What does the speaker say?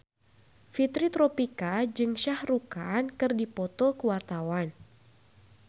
Fitri Tropika jeung Shah Rukh Khan keur dipoto ku wartawan